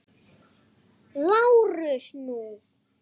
LÁRUS: Nú?